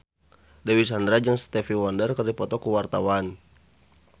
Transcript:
Dewi Sandra jeung Stevie Wonder keur dipoto ku wartawan